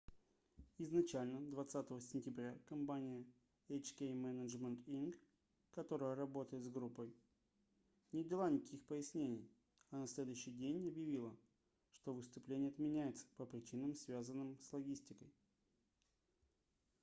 изначально 20 сентября компания hk management inc которая работает с группой не дала никаких пояснений а на следующий день объявила что выступление отменяется по причинам связанным с логистикой